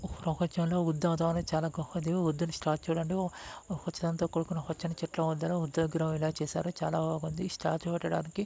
ఉత్సాహంతో కూడుకున్న పచ్చని చెట్లు వద్దన బుద్ధ విగ్రహంల చేసారు చాలబాగుంది స్టాట్ట్యూ పెట్టడానికి --